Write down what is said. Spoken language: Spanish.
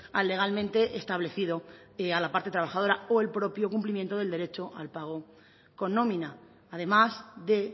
al legalmente establecido a la parte trabajadora o el propio cumplimiento del derecho al pago con nómina además de